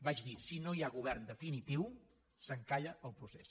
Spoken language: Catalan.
vaig dir si no hi ha govern definitiu s’encalla el procés